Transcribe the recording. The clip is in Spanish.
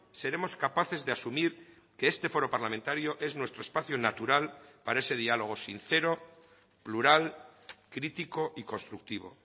seremos capaces de asumir que este foro parlamentario es nuestro espacio natural para ese diálogo sincero plural crítico y constructivo